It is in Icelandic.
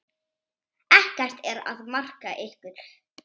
Ekkert er að marka ykkur.